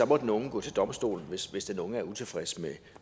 må den unge gå til domstolene hvis hvis den unge er utilfreds